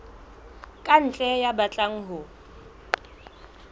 ka ntle ya batlang ho